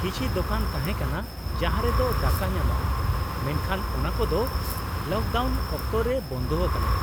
ᱠᱤᱪᱷᱤ ᱫᱳᱠᱟᱱ ᱛᱟᱦᱮᱸ ᱠᱟᱱᱟ ᱡᱟᱦᱟᱸ ᱨᱮᱫᱚ ᱫᱟᱠᱟ ᱧᱟᱢᱚᱜᱼᱟ, ᱢᱮᱱᱠᱷᱟᱱ ᱚᱱᱟᱠᱚᱫᱚ ᱞᱚᱠᱰᱟᱣᱩᱱ ᱚᱠᱛᱚ ᱨᱮ ᱵᱚᱱᱫᱚ ᱟᱠᱟᱱᱟ ᱾